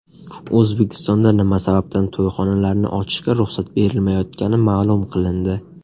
O‘zbekistonda nima sababdan to‘yxonalarni ochishga ruxsat berilmayotgani ma’lum qilindi.